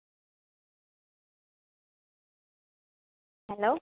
hello